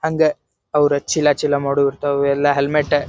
ಹಂಗ್ ಅವ್ರ ಚೀಲ ಚೀಲ ಮಾಡೋರ್ ಇರತ್ವ್ ‌ ಎಲ್ಲಾ ಹೆಲ್ಮೆಟ್ --